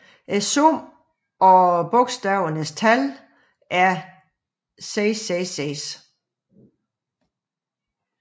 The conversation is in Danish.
Summen af bogstavernes tal er 666